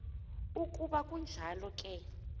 ukuba kunjalo ke